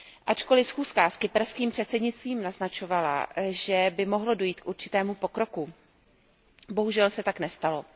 Ačkoliv schůzka s kyperských předsednictvím naznačovala, že by mohlo dojít k určitému pokroku, bohužel se tak nestalo.